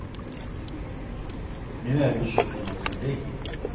Nu är du så fin du kan bli.